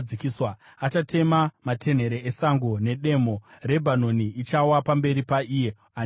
Achatema matenhere esango nedemo; Rebhanoni ichawa pamberi paIye Ane Simba.